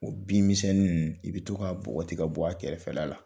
O bin misɛnnin ninnu, i bɛ to ka bɔgɔti ka bɔ a kɛrɛfɛla la.